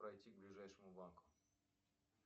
пройти к ближайшему банку